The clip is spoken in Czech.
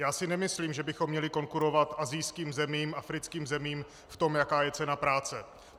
Já si nemyslím, že bychom měli konkurovat asijským zemím, africkým zemím v tom, jaká je cena práce.